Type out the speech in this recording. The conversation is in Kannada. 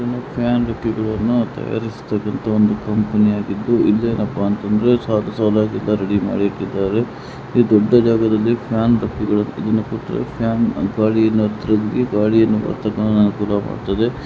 ಫ್ಯಾನ್ ರೆಕ್ಕೆಗಳನ್ನು ತಯಾರಿಸತಕ್ಕಂತಹ ಒಂದು ಕಂಪನಿ ಆಗಿದ್ದು ಇದೇನಪ್ಪಾ ಅಂತ ಅಂದ್ರೆ ಸಾಲು ಸಾಲಾಗಿ ಇದನ್ನ ರೆಡಿ ಮಾಡಿ ಇಟ್ಟಿದ್ದಾರೆ ಈ ದೊಡ್ಡ ಜಾಗದಲ್ಲಿ ಫ್ಯಾನ್ ರೆಕ್ಕೆಗಳು ಫ್ಯಾನ್ ಗಾಳಿಯನ್ನ ಗಾಳಿಯನ್ನ ಬರತಕ್ಕಂತೆ ಅನುಕೂಲ ಮಾಡ್ತದೆ.